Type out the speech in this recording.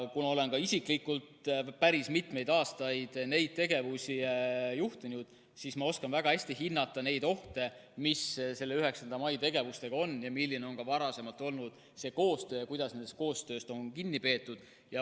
Kuna olen ka isiklikult päris mitmeid aastaid neid tegevusi juhtinud, siis ma oskan väga hästi hinnata neid ohte, mis 9. mai tegevustega on seotud, tean, milline on olnud see koostöö ja kuidas sellest koostööst on kinni peetud.